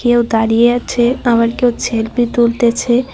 কেউ দাঁড়িয়ে আছে আবার কেউ ছেলফি তুলতেছে।